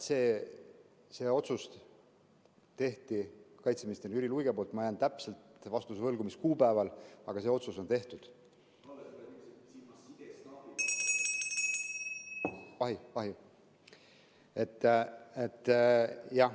See otsus tehti kaitseminister Jüri Luige poolt, ma jään täpse vastuse võlgu, mis kuupäeval, aga see otsus on tehtud.